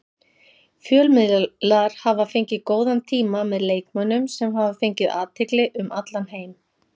Fjölmiðlar hafa fengið góðan tíma með leikmönnum sem hafa fengið athygli um allan heim.